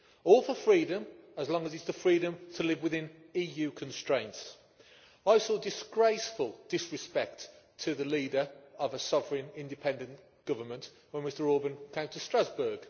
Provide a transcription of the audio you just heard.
All for freedom, as long as it is the freedom to live within EU constraints. I saw disgraceful disrespect to the leader of a sovereign independent government when Mr Orbán came to Strasbourg.